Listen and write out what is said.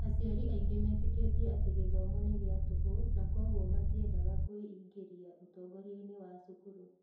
Aciari aingĩ metĩkĩtie atĩ gĩthomo nĩ gĩa tũhũ na kwoguo matiendaga kwĩingĩria ũtongoria-inĩ wa cukuru.